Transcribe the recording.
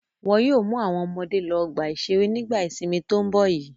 Wọn yóò mú àwọn ọmọdé lọ ọgbà-ìṣeré nígbà ìsìnmi tó ń bọ̀ yìí.